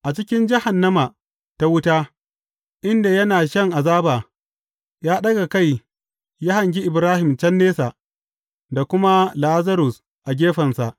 A cikin jahannama ta wuta, inda yana shan azaba, ya ɗaga kai ya hangi Ibrahim can nesa, da kuma Lazarus a gefensa.